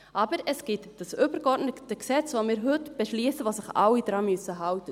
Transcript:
Aber es gibt dieses übergeordnete Gesetz, das wir heute beschliessen, an das sich alle halten müssen.